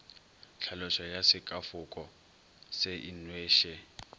tlhaloso ya sekafoko se inweše